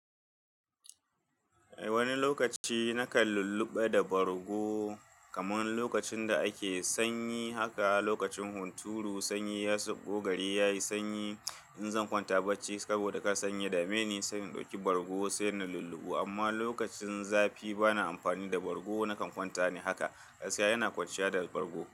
Wani lokaci nakan lulluɓe da bargo kamar lokacin da ake sanyi haka, lokacin hunturu sanyi ya sauɓo, gari yayi sanyi. In zan kwanta bacci saboda ka sanye da maini, sai in ɗauki bargo sai na lulluɓe. Amma lokacin zafi bana amfani da bargo, nakan kwanta ne haka. Ƙasa yana kwaciya da bargo.